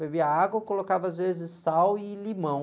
Bebia água, colocava às vezes sal e limão.